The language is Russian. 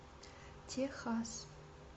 техасс